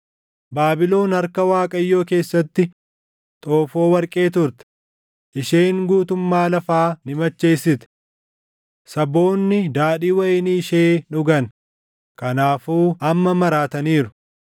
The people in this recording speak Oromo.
Baabilon harka Waaqayyoo keessatti xoofoo warqee turte; isheen guutummaa lafaa ni macheessite. Saboonni daadhii wayinii ishee dhugan; kanaafuu amma maraataniiru.